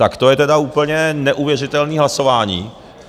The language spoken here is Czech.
Tak to je teda úplně neuvěřitelný hlasování.